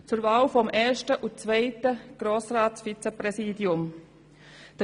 Zur Wahl des ersten und zweiten Grossratsvizepräsidiums.